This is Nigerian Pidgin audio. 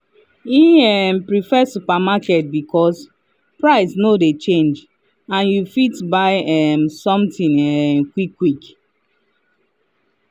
he um prefer supermarket because price no de change and you fit buy um something um quick quick